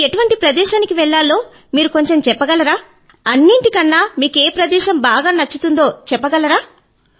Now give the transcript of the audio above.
మేము ఎటువంటి ప్రదేశానికి వెళ్ళాలో మీరు కొంచెం చెప్పగలరా అన్నింటికన్నా ఏ ప్రదేశం మీకు బాగా నచ్చిందో కూడా చెప్పగలరా